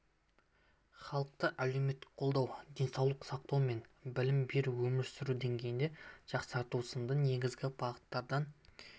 халықты әлеуметтік қолдау денсаулық сақтау мен білім беру өмір сүру деңгейін жақсарту сынды негізгі бағыттардан